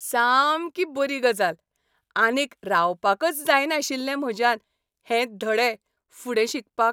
सामकी बरी गजाल! आनीक रावपाकच जायनाशिल्लें म्हज्यान हें धडे फुडें शिकपाक.